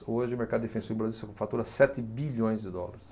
Hoje o mercado defensivo do Brasil fatura sete bilhões de dólares.